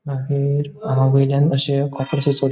मागिर वॉइलयां आशे --